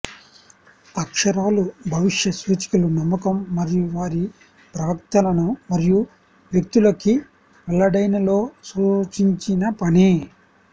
అక్షరాలు భవిష్య సూచకులు నమ్మకం మరియు వారి ప్రవక్తలను మరియు వ్యక్తులకి వెల్లడైన లో సూచించిన పని